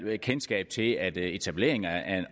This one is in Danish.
kendskab til at en etablering af